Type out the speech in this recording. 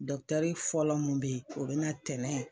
fɔlɔ mun be ye o bi na tɛnen